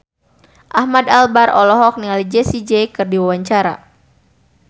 Ahmad Albar olohok ningali Jessie J keur diwawancara